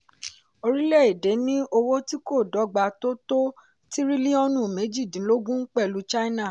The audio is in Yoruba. orílẹ̀ èdè ní owó tí kò dọ̀gba tó tó tírílíọ̀nù méjìdínlógún pẹ̀lú china.